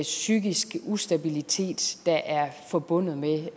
psykisk ustabilitet der er forbundet med